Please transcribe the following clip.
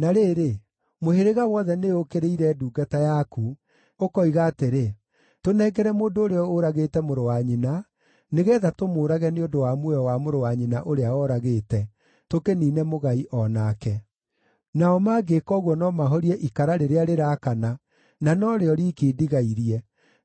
Na rĩrĩ, mũhĩrĩga wothe nĩũũkĩrĩire ndungata yaku; ũkoiga atĩrĩ, ‘Tũnengere mũndũ ũrĩa ũragĩte mũrũ wa nyina, nĩgeetha tũmũũrage nĩ ũndũ wa muoyo wa mũrũ wa nyina ũrĩa ooragĩte; tũkĩniine mũgai o nake.’ Nao mangĩĩka ũguo no mahorie ikara rĩrĩa rĩraakana, na no rĩo riiki ndigairie,